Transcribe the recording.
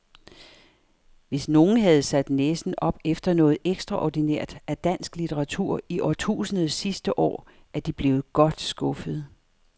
Hvis nogen havde sat næsen op efter noget ekstraordinært af dansk litteratur i årtusindets sidste år, er de blevet godt skuffede.